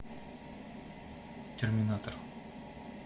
терминатор